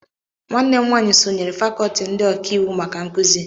nwanne m nwanyị sonyeere fàkọọti ndị ọká iwu maka nkuzi